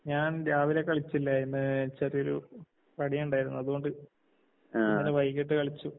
ഞാൻ രാവിലെ കളിച്ചില്ലായിരുന്ന്, ചെറിയൊരു പണി ഇണ്ടായിരുന്നു അതുകൊണ്ട് ഇന്നലെ വൈകിട്ട് കളിച്ചു.